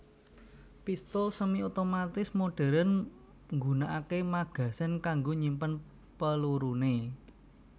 Pistul semi otomatis modhèrn nggunakaké magazen kanggo nyimpen pelurune